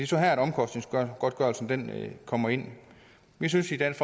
så her omkostningsgodtgørelsen kommer ind vi synes i dansk